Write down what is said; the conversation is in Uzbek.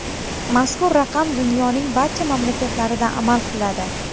Mazkur raqam dunyoning barcha mamlakatlarida amal qiladi.